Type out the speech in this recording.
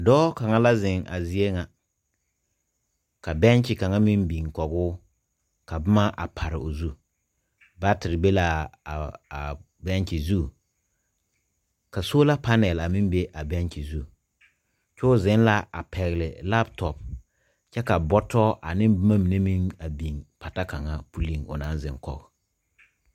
Dɔɔ la ziŋ ka bɛŋkye biŋ kɔge o ka boma a pare o zu. Baateɛ be la a bɛŋkye zu, sola panal meŋ be la a bɛŋkye zu. A dɔɔ pɛgle la kɔmpiita kyɛ ka bɔtɔ ne boma biŋ pata pulleŋ